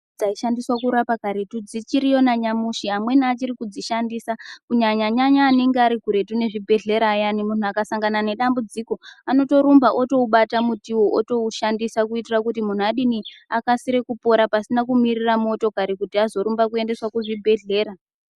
Dzaishandiswa kurapa karetu dzichiriyo nanyamushi amweni achiri kudzishandisa kunyanyanyanya anenge arikuretu nezvibhehlera ayani munhu akasangana nedambudziko anotorumba otoubata mutiwo otoushandisa kuitira kuti munhu adini akasire kupora pasina kumirira motokari kuti azorumbiswa kuendeswa kuzvibhehlera.